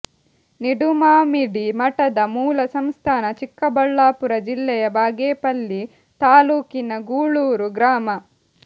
ನಿಡುಮಾಮಿಡಿ ಮಠದ ಮೂಲ ಸಂಸ್ಥಾನ ಚಿಕ್ಕಬಳ್ಳಾಪುರ ಜಿಲ್ಲೆಯ ಬಾಗೇಪಲ್ಲಿ ತಾಲೂಕಿನ ಗೂಳೂರು ಗ್ರಾಮ